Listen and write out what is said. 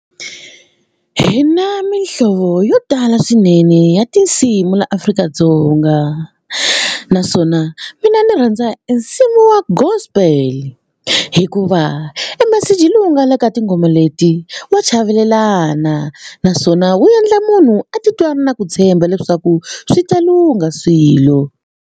Hina mihlovo yo tala swinene ya tinsimu la Afrika-Dzonga naswona mina ni rhandza e nsimu wa Gospel hikuva e meseji lowu nga laha ka tinghoma leti wa chavelelana naswona wu endla munhu a titwa a ri na ku tshemba leswaku swi ta lungha swilo.